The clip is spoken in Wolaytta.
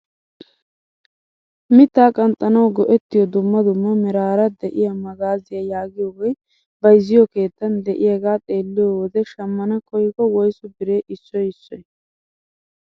Mittaa qanxxanawu go"ettiyoo dumma dumma meraara de'iyaa magaaziyaa yaagiyooge bayzziyoo keettan de'iyaagaa xeelliyoo wode shammaan koyikko woysu biree issoy issoy?